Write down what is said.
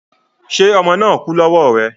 Ṣé ọmọ náà kú lọ́wọ́ rẹ